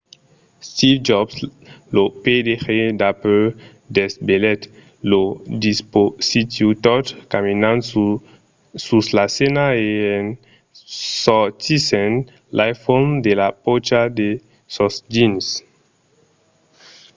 steve jobs lo pdg d’apple desvelèt lo dispositiu tot caminant sus la scèna e en sortissent l'iphone de la pòcha de son jeans